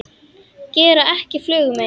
Gera ekki flugu mein.